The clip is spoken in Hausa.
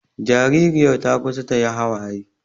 Jaririyar ta kusa ta yi hawaye